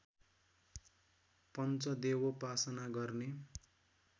पञ्चदेवोपासना गर्ने